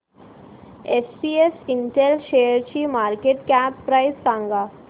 SPS Intel शेअरची market cap price सांगा